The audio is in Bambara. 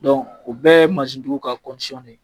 ou bɛɛ ye tigiw ka de ye.